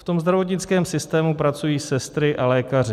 V tom zdravotnickém systému pracují sestry a lékaři.